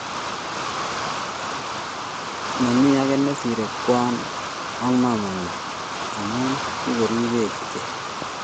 Mami age nesire Kwan ago mamaenyi amugigoribech iche